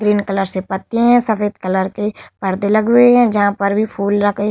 green colour से पत्ते हैं सफ़ेद कलर के परदे लगे हुए हैं जहाँ पर भी फूल रखे --